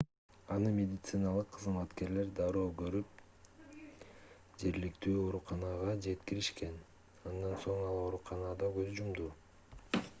аны медициналык кызматкерлер дароо көрүп жергиликтүү ооруканага жеткиришкен андан соң ал ооруканада көз жумду